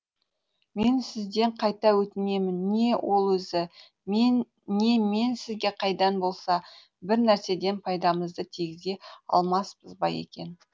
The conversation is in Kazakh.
мен сізден қайта өтінемін не ол өзі не мен сізге қандай да болса бір нәрседен пайдамызды тигізе алмаспыз ба екен